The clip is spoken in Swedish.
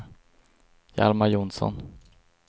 Hjalmar Johnsson